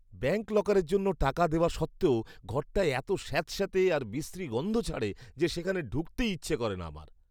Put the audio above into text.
Bank লকারের জন্য টাকা দেওয়া সত্ত্বেও ঘরটায় এত স্যাঁতস্যাঁতে আর বিশ্রী গন্ধ ছাড়ে যে সেখানে ঢুকতেই ইচ্ছে করে না আমার।